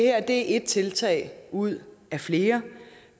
er et tiltag ud af flere